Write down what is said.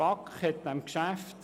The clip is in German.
– So ist es besser.